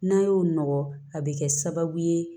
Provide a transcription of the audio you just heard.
N'a y'o nɔgɔ a bɛ kɛ sababu ye